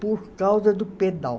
por causa do pedal.